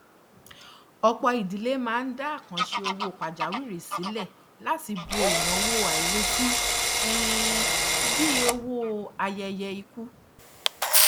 ọpọ idílé máa ń dá àkàǹṣe owó pajawiri sílẹ láti bo ináwó àìrètí um bíi owó ayẹyẹ ikú